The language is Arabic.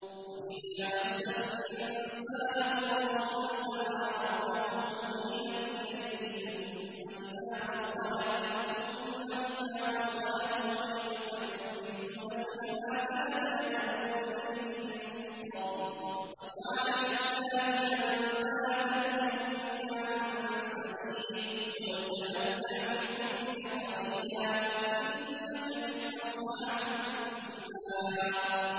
۞ وَإِذَا مَسَّ الْإِنسَانَ ضُرٌّ دَعَا رَبَّهُ مُنِيبًا إِلَيْهِ ثُمَّ إِذَا خَوَّلَهُ نِعْمَةً مِّنْهُ نَسِيَ مَا كَانَ يَدْعُو إِلَيْهِ مِن قَبْلُ وَجَعَلَ لِلَّهِ أَندَادًا لِّيُضِلَّ عَن سَبِيلِهِ ۚ قُلْ تَمَتَّعْ بِكُفْرِكَ قَلِيلًا ۖ إِنَّكَ مِنْ أَصْحَابِ النَّارِ